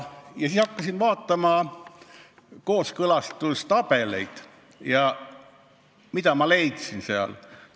Ja siis hakkasin vaatama kooskõlastustabelit, ja mida ma leidsin sealt?